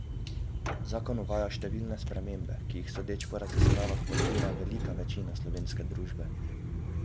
Zakon uvaja številne spremembe, ki jih, sodeč po raziskavah, podpira velika večina slovenske družbe.